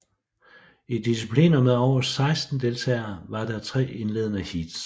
I discipliner med over 16 deltagere var der tre indledende heats